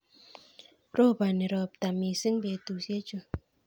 roponi ropta mising betusiechu